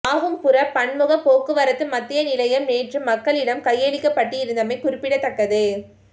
மாகும்புர பன்முக போக்குவரத்து மத்திய நிலையம் நேற்று மக்களிடம் கையளிக்கப்பட்டிருந்தமை குறிப்பிடத்தக்கது